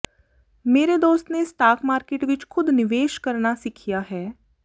ਮੇਰੇ ਦੋਸਤ ਨੇ ਸਟਾਕ ਮਾਰਕੀਟ ਵਿੱਚ ਖੁਦ ਨਿਵੇਸ਼ ਕਰਨਾ ਸਿੱਖਿਆ ਹੈ